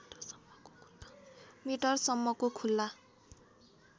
metre सम्मको खुल्ला